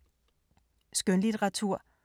Skønlitteratur